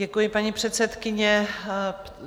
Děkuji, paní předsedkyně.